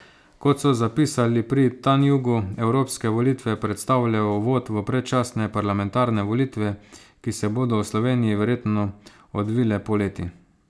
Kot so zapisali pri Tanjugu, evropske volitve predstavljajo uvod v predčasne parlamentarne volitve, ki se bodo v Sloveniji verjetno odvile poleti.